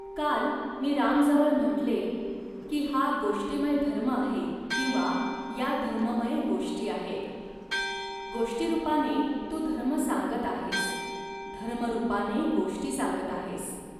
काल मी रामजवळ म्हटले, की हा गोष्टीमय धर्म आहे किंवा या धर्ममय गोष्टी आहेत. गोष्टीरूपाने तू धर्म सांगत आहेस, धर्मरूपाने गोष्टी सांगत आहेस